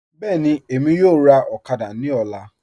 Bẹẹni, Emi yọ̀ọ̀ rà okada ni ọ̀là